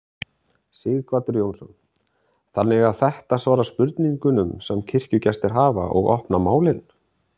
Sighvatur Jónsson: Þannig að þetta svara spurningum sem kirkjugestir hafa og opna málin?